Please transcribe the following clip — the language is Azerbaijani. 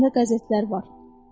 Əlində qəzetlər var.